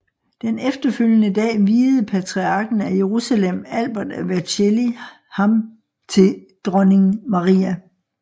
Den efterfølgende dag viede patriarken af Jerusalem Albert af Vercelli ham til dronning Maria